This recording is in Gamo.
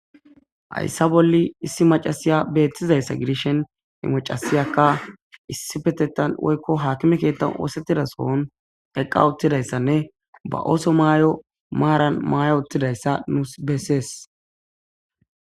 Haysa bolla isso mac'asiya betizaysa gidishin he macasiyaka issippetethan woykon hakime keethan oosetida eqa utidaysanne ba ooso mayo maaran maya uttidaysa nus besses.